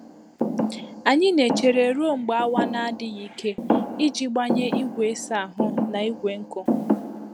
Anyị na-echere ruo mgbe awa na-adịghị ike iji gbanye igwe ịsa ahụ na igwe nkụ.